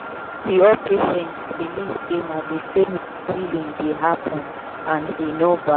no be all patients believe say na the same way healing dey happen and e no bad.